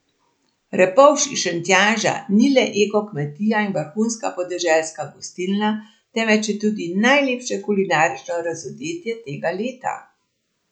Repovž iz Šentjanža ni le eko kmetija in vrhunska podeželska gostilna, temveč je tudi najlepše kulinarično razodetje tega leta!